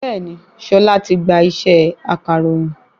Bẹ́ẹ̀ni, Ṣọlá ti gba ṣẹ́ akàròyìn